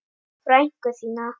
Frænku þína?